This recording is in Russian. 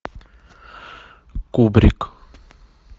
кубрик